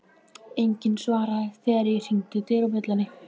Enginn svaraði þegar ég hringdi dyrabjöllunni.